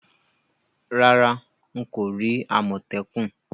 Rárá, n ko ri àmòtẹ́kùn